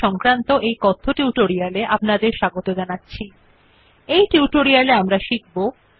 welcome to the spoken tutorial on LibreOffice রাইটের - typing the text and basic formatting